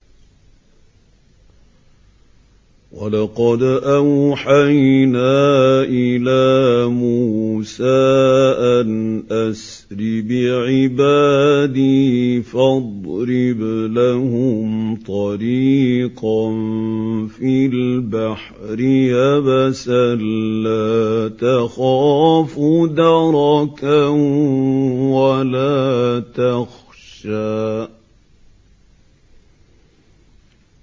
وَلَقَدْ أَوْحَيْنَا إِلَىٰ مُوسَىٰ أَنْ أَسْرِ بِعِبَادِي فَاضْرِبْ لَهُمْ طَرِيقًا فِي الْبَحْرِ يَبَسًا لَّا تَخَافُ دَرَكًا وَلَا تَخْشَىٰ